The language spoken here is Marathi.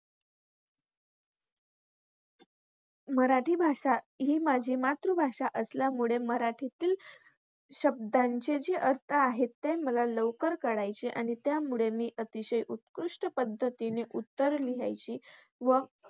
मराठी भाषा ही माझी मातृभाषा असल्यामुळे मराठीतील शब्दांचे जे अर्थ आहेत ते मला लवकर कळायचे. आणि त्यामुळे मी अतिशय उत्कृष्ट पद्धतीने उत्तरं लिहायची. व